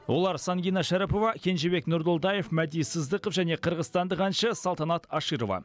олар сангина шәріпова кенжебек нұрдолдаев мәди сыздықов және қырғызстандық әнші салтанат аширова